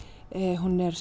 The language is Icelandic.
hún er